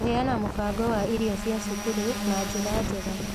Kũheana mũbango wa irio cia cukuru na njĩra njega